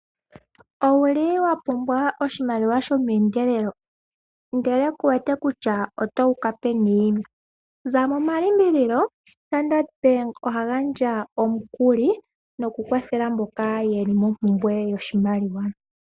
Owuli wa pumbwa oshimaliwa shomeendelelo? Ndele kuwete kutya oto uka peni? Za mo momalimbililo Standard bank oha gandja omukuli, noku kwathele mboka yeli mo pumbwe yoshimaliwa.